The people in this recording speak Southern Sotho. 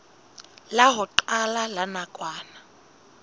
la ho qala la nakwana